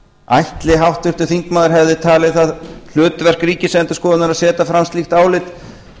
ætli háttvirtur þingmaður hefði talið það hlutverk ríkisendurskoðunar að setja fram slíkt álit